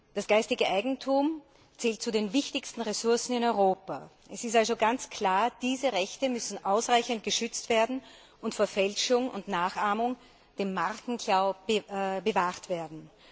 Das geistige Eigentum zählt zu den wichtigsten Ressourcen in Europa. Es ist also ganz klar, diese Rechte müssen ausreichend geschützt werden und vor Fälschung und Nachahmung dem Markenklau bewahrt werden.